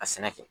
A sɛnɛ kɛ